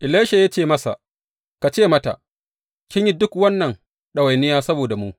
Elisha ya ce masa, Ka ce mata, Kin yi duk wannan ɗawainiya saboda mu.